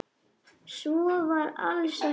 Svo var alls ekki.